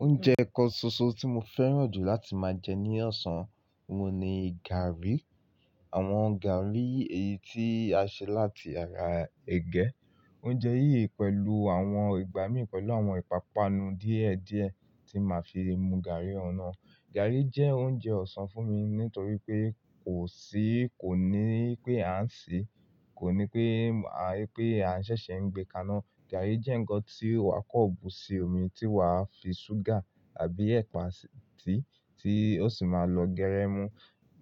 Oúnjẹ kan ṣoṣo tí mo fẹ́ràn jù láti máa jẹ ní ọ̀sán ọ́hun ni gààrí. Àwọn gààrí eyìí tí a ṣe láti ara ẹ̀gẹ́. Oúnjẹ yìí pẹ̀lú àwọn ìgbàmí pẹ̀lú àwọn ìpápánu díẹ̀ díẹ̀ tí máa fi mu gààrí ọ̀un naà. Gààrí jẹ́ oúnjẹ ọ̀sán fún mi nítorí pé kò sí, kò ní pé a ń sè, kò ní pé a, pé a ṣẹ̀ṣẹ̀ ń gbé kaná. Gààrí jẹ́ ǹǹkan tí wà kọ́ bù sí omi tí wàá fi ṣúgà àbí ẹ̀pà síi, tí ó sì máa lọ gérẹ́ mu.